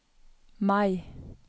Mai